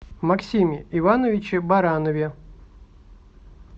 максиме ивановиче баранове